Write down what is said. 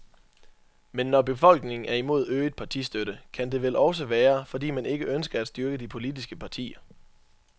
Men når befolkningen er imod øget partistøtte kan det vel også være, fordi man ikke ønsker at styrke de politiske partier.